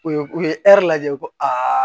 U ye u ye lajɛ u ko aa